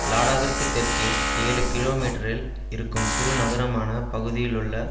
லாடாவிற்கு தெற்கே ஏழு கிலோ மீட்டரில் இருக்கும் சிறு நகரமான பகுதியிலுள்ள